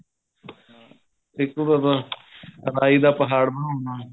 ਇੱਕ ਹੋਰ ਆ ਰਾਹੀ ਦਾ ਪਹਾੜ ਬਣਾਉਣਾ